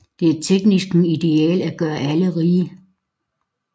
Det er teknikkens ideal at gøre alle rige